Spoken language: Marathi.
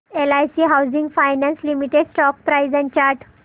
LIC housing finance limited stock price and chart